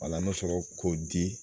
Wala an bɛ sɔrɔ k'o di